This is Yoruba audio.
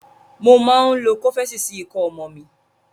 Mo máa ń lo Kọ́fẹ́sì sí ikọ́ ọmọ mi.